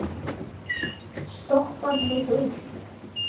Stoppar mig upp?